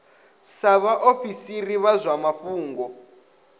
sa vhaofisiri vha zwa mafhungo